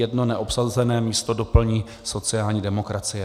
Jedno neobsazené místo doplní sociální demokracie.